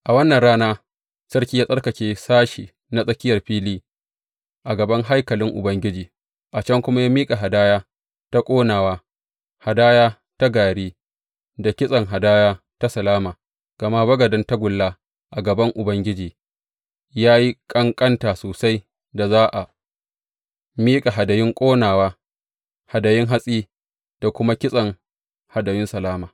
A wannan rana sarki ya tsarkake sashe na tsakiyar fili a gaban haikalin Ubangiji, a can kuma ya miƙa hadaya ta ƙonawa, hadaya ta gari, da kitsen hadaya ta salama, gama bagaden tagulla a gaban Ubangiji ya yi ƙanƙanta sosai da za a miƙa hadayun ƙonawa, hadayun hatsi, da kuma kitsen hadayun salama.